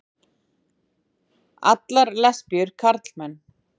allar lesbíur karlmenn.